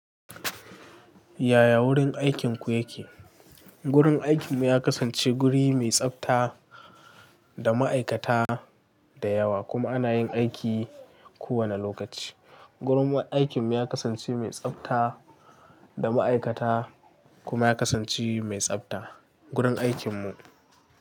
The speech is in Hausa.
Yaya wurin aikinku yake? Gurin aikinmu ya kasance guri mai tsafta da ma'aikata da yawa kuma ana yin aiki kowane lokaci. Gurin aikinmu ya kasance mai tsafta da ma'aikata kuma ya kasance mai tsafta gurin aikinmu.